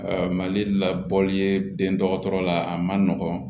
Mali la bɔli ye den dɔgɔtɔrɔ la a man nɔgɔn